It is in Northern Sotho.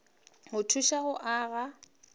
go thuše go o aga